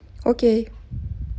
окей